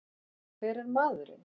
Hver er maðurinn?